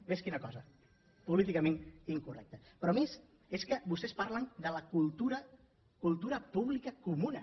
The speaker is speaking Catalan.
vés quina cosa políticament incorrecte però a més és que vostès parlen de la cultura cultura pública comuna